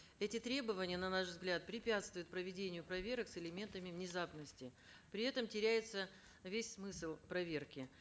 эти требования на наш взгляд препятствуют проведению проверок с элементами внезапности при этом теряется весь смысл проверки